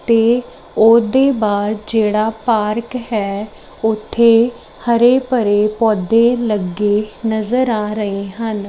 ਤੇ ਉਹਦੇ ਬਾਹਰ ਜਿਹੜਾ ਪਾਰਕ ਹੈ ਉੱਥੇ ਹਰੇ ਭਰੇ ਪੌਦੇ ਲੱਗੇ ਨਜ਼ਰ ਆ ਰਹੇ ਹਨ।